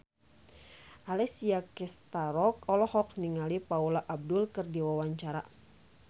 Alessia Cestaro olohok ningali Paula Abdul keur diwawancara